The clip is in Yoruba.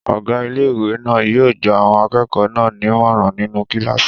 Ọgá ilé-ìwé náà yóò gba àwọn akẹ́kọ̀ọ́ náà nímọ̀ràn nínú kílàsì